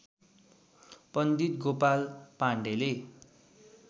पण्डित गोपाल पाण्डेले